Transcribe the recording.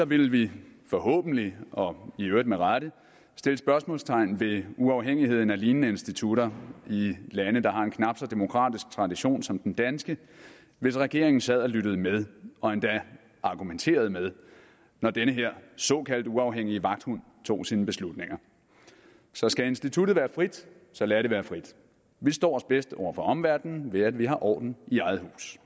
vil vi forhåbentlig og i øvrigt med rette sætte spørgsmålstegn ved uafhængigheden af lignende institutter i lande der har en knap så demokratisk tradition som den danske hvis regeringen sad og lyttede med og endda argumenterede med når den her såkaldt uafhængige vagthund tog sine beslutninger så skal instituttet være frit så lad det være frit vi står os bedst over for omverdenen ved at vi har orden i eget hus